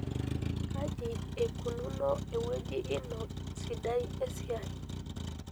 Kaji eikununo ewueji ino sidai esiai?